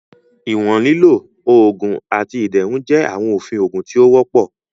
Iwọn lilo, oogun, ati iderun jẹ awọn ofin oogun ti o wọpọ.